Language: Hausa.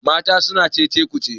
mata suna Cece ku ce